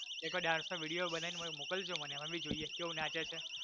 એક વાર dance નો video બનાઈને મોકલજો મને અમે ભી જોઈએ કેવુ નાચે છે